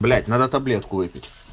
блять надо таблетку выпить